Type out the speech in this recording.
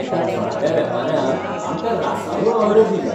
एका थळाव्या वेपाऱ्यान आमकां रासवळ ऑर्डर दिल्या